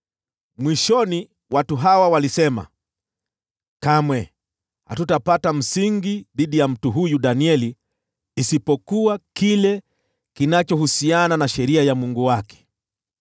Mwishoni watu hawa walisema, “Kamwe hatutapata msingi wa mashtaka dhidi ya huyu Danieli isipokuwa iwe inahusiana na sheria ya Mungu wake.”